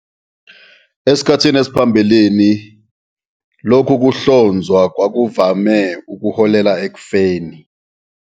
Esikhathini saphambilini, lokhu kuhlonzwa kwakuvame ukuholela ekufeni.